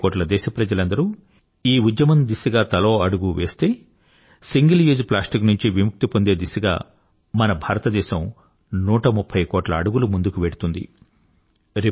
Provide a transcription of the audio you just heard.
130 కోట్ల దేశప్రజలందరూ ఈ ఉద్యమం దిశగా తలో అడుగూ వేస్తే సింగిల్ యూజ్ ప్లాస్టిక్ నుంచి విముక్తి పొందే దిశగా మన భారతదేశం 130 కోట్ల అడుగులు ముందుకు వెళ్తుంది